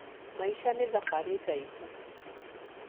Maica nĩ thabarĩ ndaihu